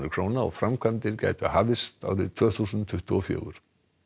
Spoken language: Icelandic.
króna og framkvæmdir gætu hafist árið tvö þúsund tuttugu og fjögur